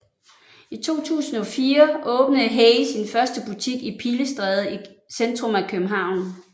I 2004 åbnede HAY sin første butik i Pilestræde i centrum af København